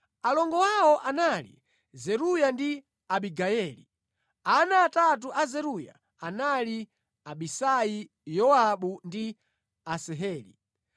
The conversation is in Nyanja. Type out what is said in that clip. Alongo awo anali Zeruya ndi Abigayeli. Ana atatu a Zeruya anali Abisai Yowabu ndi Asaheli.